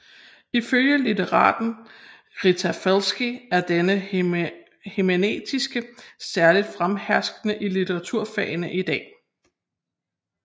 Ifølge litteraten Rita Felski er denne hermeneutik særligt fremherskende i litteraturfagene i dag